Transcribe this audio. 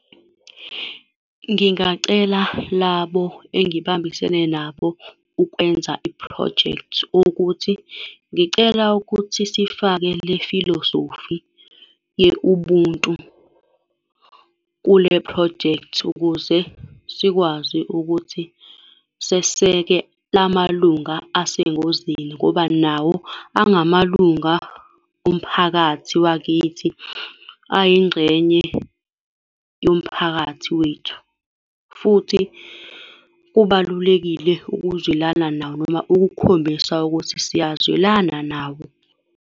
Ngingacela labo engibambisene nabo ukwenza iphrojekthi ukuthi ngicela ukuthi sifake le filosofi ye-Ubuntu kule phrojekthi ukuze sikwazi ukuthi seseke la malunga asengozini ngoba nawo angamalunga omphakathi wakithi, ayingxenye yomphakathi wethu. Futhi kubalulekile ukuzwelana nawo, noma ukukhombisa ukuthi siyazwelana nawo.